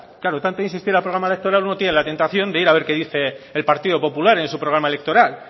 claro tanto insistir al programa electoral uno tiene la tentación de ir a ver qué dice el partido popular en su programa electoral